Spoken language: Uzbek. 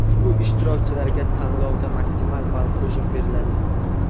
Ushbu ishtirokchilarga tanlovda maksimal ball qo‘shib beriladi.